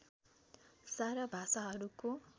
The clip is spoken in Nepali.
सारा भाषाहरूको